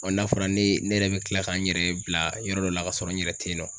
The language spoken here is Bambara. n'a fɔra ne ye ne yɛrɛ be kila ka n yɛrɛ bila yɔrɔ dɔ la ka sɔrɔ n yɛrɛ te yen nɔ.